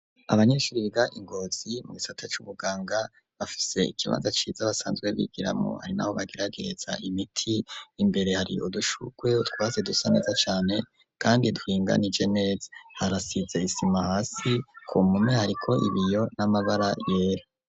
Abanyeshuri biga Ngozi mu gisata cubuganga bafise ikibaza ciza basanzwe bigiramu harinaho bageragetsa imiti imbere hari udushukwe twaze dusa neza cane kandi dwinga ni genes harasitse isima hasi ku mume ariko ibiyo n'amabara yera.